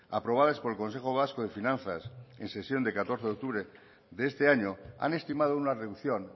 aprobadas por el consejo vasco de finanzas en sesión de catorce de octubre de este año han estimado una reducción